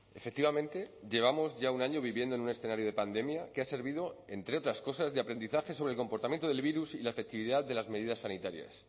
efectivamente llevamos ya un año viviendo en un escenario de pandemia que ha servido entre otras cosas de aprendizaje sobre el comportamiento del virus y la efectividad de las medidas sanitarias